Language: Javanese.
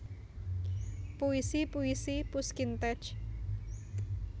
Puisi puisi Pushkin terj